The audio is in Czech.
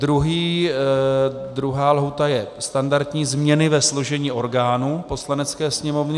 Druhá lhůta je standardní změny ve složení orgánů Poslanecké sněmovny.